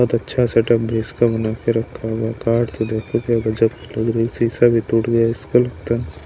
बहुत अच्छा सेटअप भी इसका बना के रखा हुआ कार्ड तो देखो क्या गजब लग रही है शीशा भी टूट गया इसका लगता है।